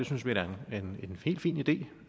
synes vi da er en helt fin idé